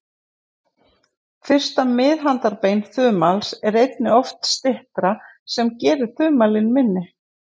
Fyrsta miðhandarbein þumals er einnig oft styttra, sem gerir þumalinn minni.